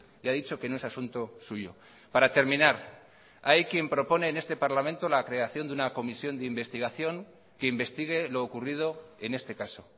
y ha dicho que no es asunto suyo para terminar hay quien propone en este parlamento la creación de una comisión de investigación que investigue lo ocurrido en este caso